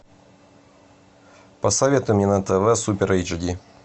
посоветуй мне на тв супер эйч ди